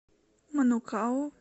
манукау